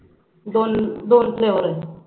दोन दोन फ्लेवर होईल